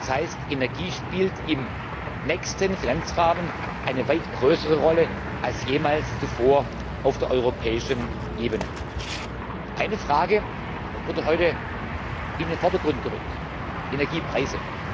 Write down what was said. Das heißt Energie spielt im nächsten Finanzrahmen eine weit größere Rolle als jemals zuvor auf der europäischen Ebene. Eine Frage wurde heute in den Vordergrund gerückt Energiepreise.